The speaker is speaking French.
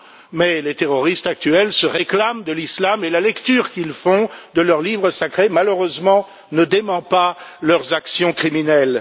Mais les terroristes actuels se réclament de l'islam et la lecture qu'ils font de leur livre sacré, malheureusement, ne dément pas leurs actions criminelles.